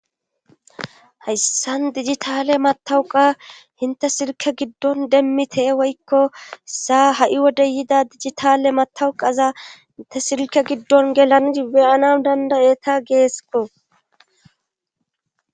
Hayssan dijitale matawuqa hinte sirke giddon demmi tee woykko saa ha'i wode yida dijitale matawuqaza inte sirke giddon gelani beyanan dandayeta geesko